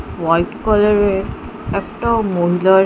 white colour -এর একটা মহিলা এ--